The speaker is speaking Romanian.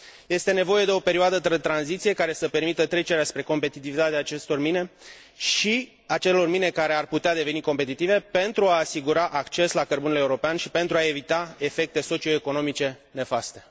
Este nevoie de o perioadă de tranziție care să permită trecerea spre competitivitatea acestor mine și a acelor mine care ar putea deveni competitive pentru a asigura acces la cărbunele european și pentru a evita efecte socioeconomice nefaste.